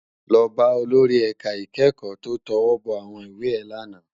Lò bá ólóri èká ikèékò tó tòwòbò áwòn iwé è làná